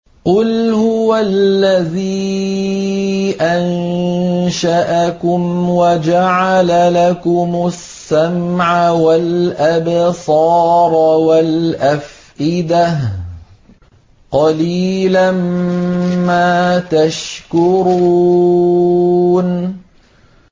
قُلْ هُوَ الَّذِي أَنشَأَكُمْ وَجَعَلَ لَكُمُ السَّمْعَ وَالْأَبْصَارَ وَالْأَفْئِدَةَ ۖ قَلِيلًا مَّا تَشْكُرُونَ